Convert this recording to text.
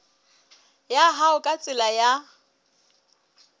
ya hao ka tsela ya